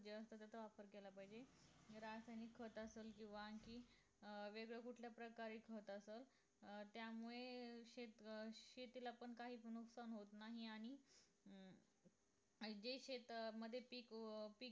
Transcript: जीवनसत्वाचा वापर केला पाहिजे रासायनिक खत असल किंवा आणखी अं वेगवेगळ्या कुठल्या प्रकारे खत असत त्यामुळे अं शेती अं शेतीला पण काही नुकसान होत नाही आणि अं आणि जे शेतामध्ये पीक जास्त पीक